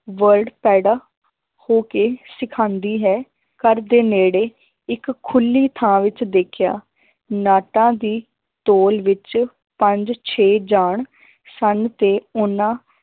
Word ਪੈਦਾ ਹੋ ਕੇ ਸਿਖਾਉਂਦੀ ਹੈ ਘਰਦੇ ਨੇੜੇ ਇੱਕ ਖੁੱਲੀ ਥਾਂ ਵਿੱਚ ਦੇਖਿਆ ਨਾਟਾਂ ਦੀ ਤੋਲ ਵਿੱਚ ਪੰਜ ਛੇ ਜਾਣ ਸਨ ਤੇ ਉਹਨਾਂ